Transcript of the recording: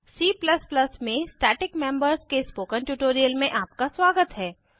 C में static members के spoken tutorial में आपका स्वागत है